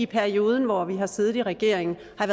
periode hvor vi har siddet i regering der